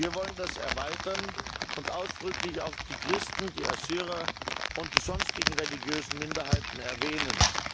Wir wollen das erweitern und ausdrücklich auch die Christen, die Assyrer und die sonstigen religiösen Minderheiten erwähnen.